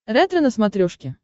ретро на смотрешке